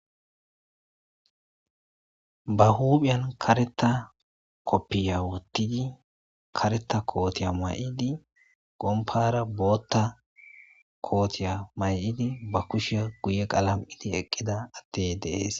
ba huuphiyan kareta koppiya wottidi kareta kootiya may7idi gompara bootta kootiya may7idi ba kushiya guye qalam7idi eqqida attey deees